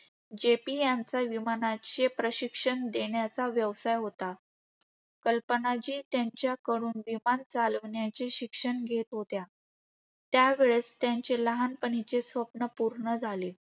JP यांचा विमानाचे प्रशिक्षण देण्याचा व्यवसाय होता. कल्पना जी त्यांच्याकडून विमान चालवण्याचे शिक्षण घेत होत्या. त्या वेळेस त्यांचे लहानपणीचे स्वप्न पूर्ण झाले.